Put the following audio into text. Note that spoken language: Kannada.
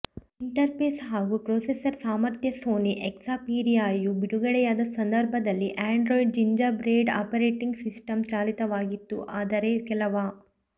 ಇಂಟರ್ಫೇಸ್ ಹಾಗೂ ಪ್ರೊಸೆಸರ್ ಸಾಮರ್ತ್ಯಸೋನಿ ಎಕ್ಸಪೀರಿಯಾ ಯು ಬಿಡುಗಡೆಯಾದ ಸಂದರ್ಭದಲ್ಲಿ ಆಂಡ್ರಾಯ್ಡ್ ಜಿಂಜರ್ಬೆಡ್ ಆಪರೇಟಿಂಗ್ ಸಿಸ್ಟಂ ಚಾಲಿತವಾಗಿತ್ತು ಆದರೇ ಕೆಲವ